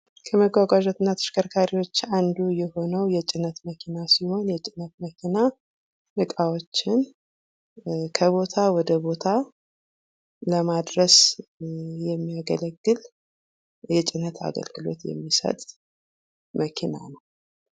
ከመጓጓጃና ተሽከርካሪዎች አንዱ የሆነው የጭነት መኪና ሲሆን የጭነት መኪና እቃዎችን ከቦታ ወደ ቦታ ለማድረስ የሚያገለግል የጭነት አገልግሎት የሚሰጥ መኪና ነው።